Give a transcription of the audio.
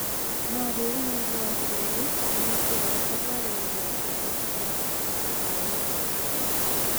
"No riũ mweri wa Kerĩ na nĩ kĩroto kwarĩrĩria kĩhoto kia gũcinda mbao inya "